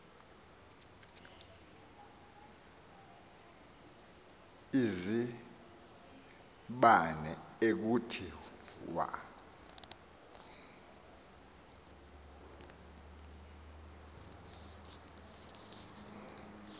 izibane ekuthi wa